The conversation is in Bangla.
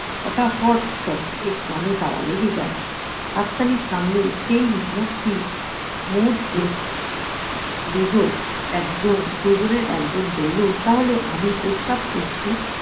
ফটা-ফট শব্দে কানে তালা লেগে যায়। হাত তালি থামলে সেই মুহূর্তি~ মুহূর্তে দুজন একজন দুজনের একজন বললো তাহলে আমি প্রস্তাব করছি